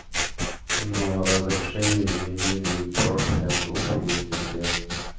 ну а разрешение изменений профиля группы есть у всех